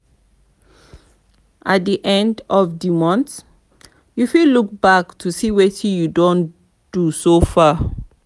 at di end of di month you fit look back to see wetin you don do so far